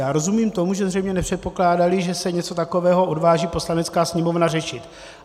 Já rozumím tomu, že zřejmě nepředpokládali, že se něco takového odváží Poslanecká sněmovna řešit.